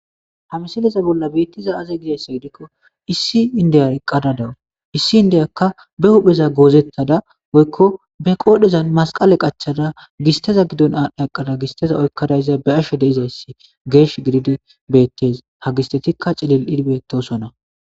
hamisileza bolla biittiza aze gidayssa gidikko issi indiyar qqadadawu issi indeyakka be hupheza goozettada oykko be qoodhezan masqale qachada gisteza giddon aadhda aqada gisteza oykkadayza be ashe deizayssi geesh gididi beettes ha gistetikka cilil7idbeettosonna